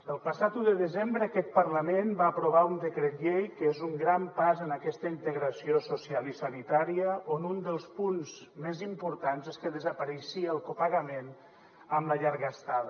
el passat un de desembre aquest parlament va aprovar un decret llei que és un gran pas en aquesta integració social i sanitària on un dels punts més importants és que desapareixia el copagament en la llarga estada